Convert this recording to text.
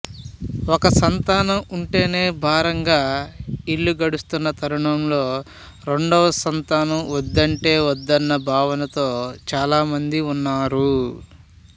ఒక సంతానం ఉంటేనే భారంగా ఇల్లు గడుస్తున్న తరుణంలో రెండో సంతానం వద్దంటే వద్దన్న భావనతో చాలామంది ఉన్నారు